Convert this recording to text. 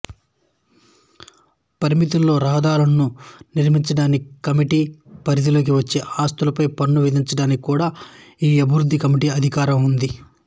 పరిమితుల్లో రహదారులను నిర్మించడానికి కమిటీ పరిధిలోకి వచ్చే ఆస్తులపై పన్ను విధించడానికి కూడా ఈ అభివృద్ధి కమిటీకి అధికారం ఉంది